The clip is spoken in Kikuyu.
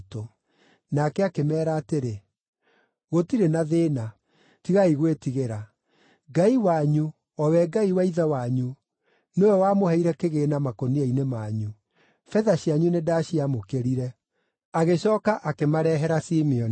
Nake akĩmeera atĩrĩ, “Gũtirĩ na thĩĩna, tigai gwĩtigĩra. Ngai wanyu, o we Ngai wa ithe wanyu, nĩwe wamũheire kĩgĩĩna makũnia-inĩ manyu; betha cianyu nĩndacĩamũkĩire.” Agĩcooka akĩmarehera Simeoni.